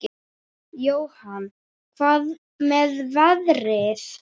Jóhann: Hvað með veðrið?